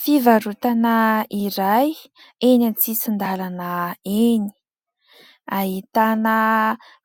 Fivarotana iray eny an-tsisin-dàlana eny ahitana